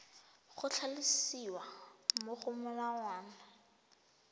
go tlhalosiwa mo go molawana